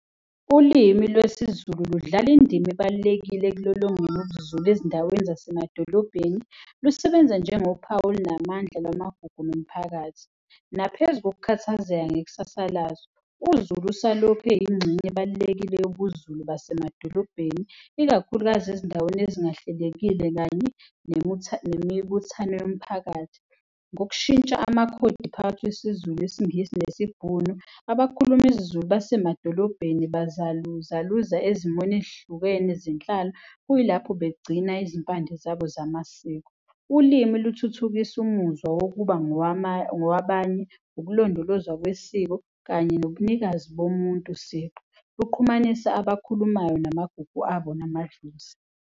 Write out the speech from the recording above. Ulimi lwesiZulu ludlala indima ebalulekile ekulolongeni ubuZulu ezindaweni zasemadolobheni. Lusebenza njengophawu olunamandla lwamagugu nomphakathi, naphezu nokukhathazeka ngekusasa lazo, uZulu usalokhu eyingxenye ebalulekile yobuZulu basemadolobheni, ikakhulukazi ezindaweni ezingahlelekile kanye nemibuthano yomphakathi. Ngokushintsha amakhodi phakathi kwesiZulu, isiNgisi nesiBhunu, abakhuluma isiZulu basemadolobheni bazaluzaluza ezimweni ey'hlukene zenhlalo, kuyilapho begcina izimpande zabo zamasiko. Ulimi luthuthukisa umuzwa wokuba ngowabanye, ukulondolozwa kwesiko kanye nobunikazi bomuntu siqu kuqhumanisa abakhulumayo namagugu abo namadlozi.